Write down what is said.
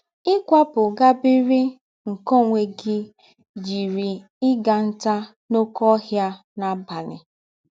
Ịkwapụ gaa biri nke ọnwe gị yiri ịga ntá n’ọké ọhịa n’abalị.